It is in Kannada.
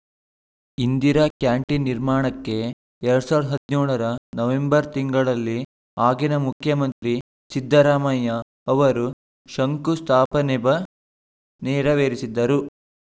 ಇಂದಿರಾ ಕ್ಯಾಂಟಿನ್‌ ನಿರ್ಮಾಣಕ್ಕೆ ಎರಡ್ ಸಾವಿರದ ಹದಿನೇಳ ರ ನವೆಂಬರ್‌ ತಿಂಗಳಿನಲ್ಲಿ ಆಗಿನ ಮುಖ್ಯಮಂತ್ರಿ ಸಿದ್ದರಾಮಯ್ಯ ಅವರು ಶಂಕು ಸ್ಥಾಪನೆಬ ನೆರವೇರಿಸಿದ್ದರು